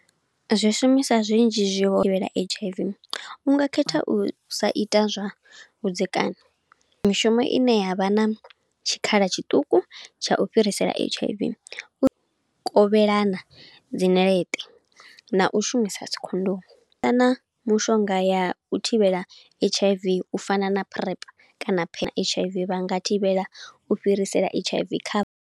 Zwi shumisa zwinzhi zwi H_I_V. Unga khetha u sa ita zwa vhudzekani, mishumo ine yavha na tshikhala tshiṱuku tsha u fhirisela H_I_V. U kovhelana dzi ṋeleṱe, na u shumisa dzikhondomu, kana mushonga ya u thivhela H_I_V u fana na PrEP, kana phi H_I_V vha nga thivhela u fhirisela H_I_V kha.